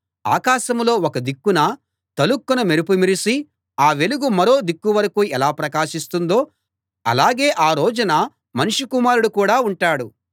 ఆకాశంలో ఒక దిక్కున తళుక్కున మెరుపు మెరిసి ఆ వెలుగు మరో దిక్కు వరకూ ఎలా ప్రకాశిస్తుందో అలాగే ఆ రోజున మనుష్య కుమారుడు కూడా ఉంటాడు